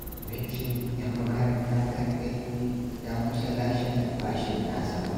Abincin 'yan makaranta kaɗai ya kusa lashe albashin nasa fa